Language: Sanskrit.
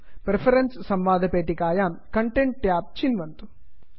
प्रेफरेन्सेस् प्रिफरेन्स् संवादपेटिकायां कन्टेन्ट् कण्टेण्ट् ट्याब् चिन्वन्तु